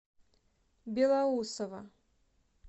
белоусово